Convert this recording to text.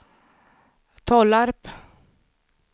Tollarp